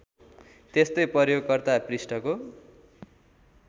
त्यस्तै प्रयोगकर्ता पृष्ठको